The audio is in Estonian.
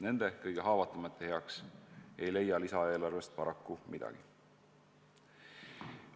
Nende, kõige haavatavamate heaks ei leia lisaeelarvest paraku midagi.